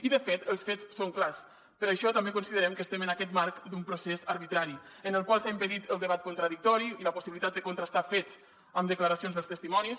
i de fet els fets són clars per això també considerem que estem en aquest marc d’un procés arbitrari en el qual s’ha impedit el debat contradictori i la possibilitat de contrastar fets amb declaracions dels testimonis